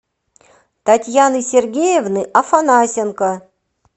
татьяны сергеевны афанасенко